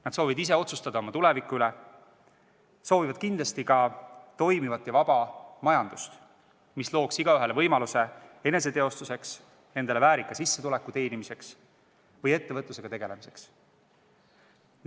Nad soovivad ise otsustada oma tuleviku üle ning kindlasti soovivad nad ka toimivat ja vaba majandust, mis looks igaühele võimaluse eneseteostuseks, endale väärika sissetuleku teenimiseks või ettevõtlusega tegelemiseks.